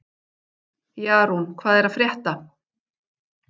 Jarún, hvað er að frétta?